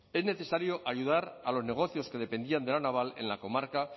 es necesario ayudar a los negocios que dependían de la naval en la comarca